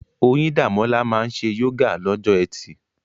Oyindamola máa ń ṣe yoga lọ́jọ́ Ẹtì.